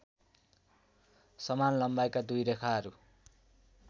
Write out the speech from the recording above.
समान लम्बाइका दुई रेखाहरू